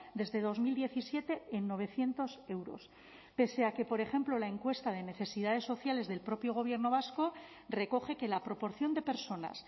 desde dos mil diecisiete en novecientos euros pese a que por ejemplo la encuesta de necesidades sociales del propio gobierno vasco recoge que la proporción de personas